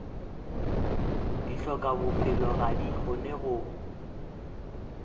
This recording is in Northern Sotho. dihlokabophelo ga di kgone go